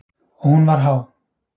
Og hún var há.